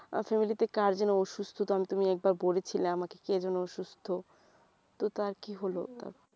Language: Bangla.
family তে কার যেন অসুস্থতা তুমি একবার বলেছিলে আমাকে কে যেন অসুস্থ তো তার কি হল